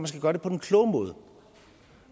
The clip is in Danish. skal gøre det på den kloge måde